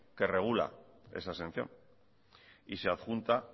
que regula esa exención y se adjunta